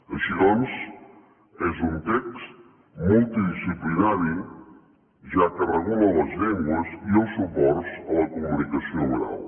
així doncs és un text multidisciplinari ja que regula les llengües i els suports a la comunicació oral